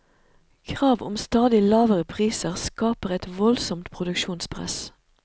Krav om stadig lavere priser skaper et voldsomt produksjonspress.